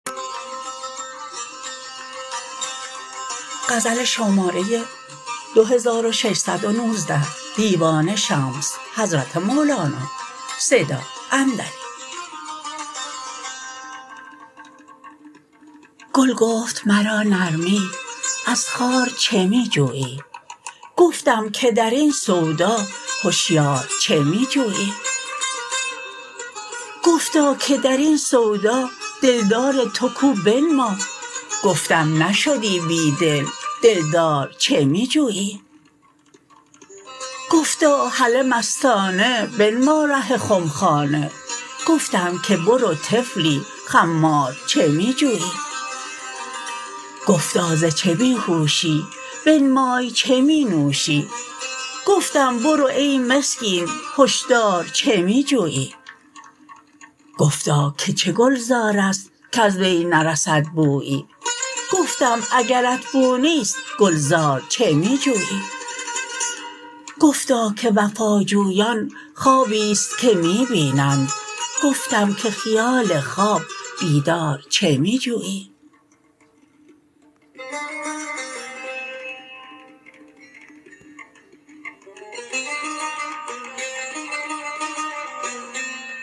گل گفت مرا نرمی از خار چه می جویی گفتم که در این سودا هشیار چه می جویی گفتا که در این سودا دلدار تو کو بنما گفتم نشدی بی دل دلدار چه می جویی گفتا هله مستانه بنما ره خمخانه گفتم که برو طفلی خمار چه می جویی گفتا ز چه بی هوشی بنمای چه می نوشی گفتم برو ای مسکین هشدار چه می جویی گفتا که چه گلزار است کز وی نرسد بویی گفتم اگرت بو نیست گلزار چه می جویی گفتا که وفاجویان خوابی است که می بینند گفتم که خیال خواب بیدار چه می جویی